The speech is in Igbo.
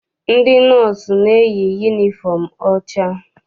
Ndị nọọsụ na-eyi yunifọm ọcha.